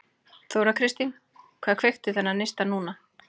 Þóra Kristín: Hvað kveikti þennan neista núna?